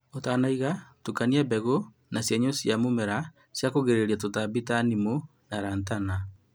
Ũtanaiga, tukania mbegu na cienyũ cia mũmera cia kũgirĩrĩria tũtambi ta nimu na lantana